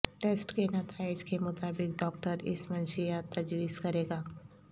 test کے نتائج کے مطابق ڈاکٹر اس منشیات تجویز کرے گا